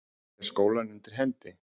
Skarpan hafa þeir skólann undir hendi.